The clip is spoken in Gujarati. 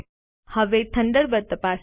હવે થન્ડરબર્ડ તપાસીએ